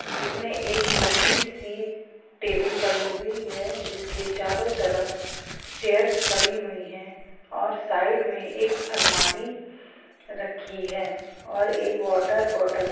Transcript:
इसमे एक लम्बी सी टेबल पड़ी हुई है जिसके चारो तरफ चेयर्स पड़ी हुई है और साइड मे एक अलमारी रखी हैऔर एक वाटर बॉटल --